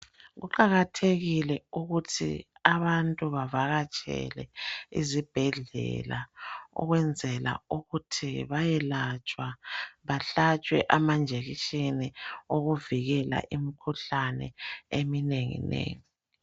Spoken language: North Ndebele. Kuqakathekile ukuthi abantu bavakatshele izibhedlela, ukwenzela ukuthi bayelatshwa bahlatshwe amanjekisheni okuvikela imikhuhlane eminenginengi.